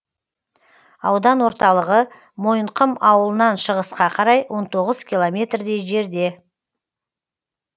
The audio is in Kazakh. аудан орталығы мойынқұм ауылынан шығысқа қарай он тоғыз километрдей жерде